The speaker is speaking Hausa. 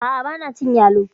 A'a banacin yalo